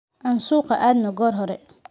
Aan suuqa aadno goor hore